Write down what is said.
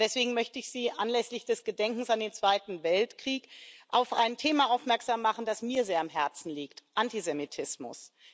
Deswegen möchte ich Sie anlässlich des Gedenkens an den Zweiten Weltkrieg auf ein Thema aufmerksam machen, das mir sehr am Herzen liegt Antisemitismus.